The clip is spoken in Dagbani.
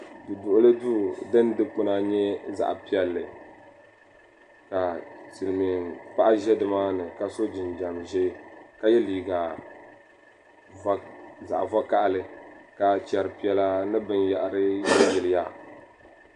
Du duɣuli duu din dikpuna nyɛ zaɣ piɛlli ka silmiin paɣa ʒɛ dimaani ka so jinjɛm ʒiɛ ka yɛ liiga zaɣ vakaɣali ka chɛri piɛla ni binyɛra yiliyilya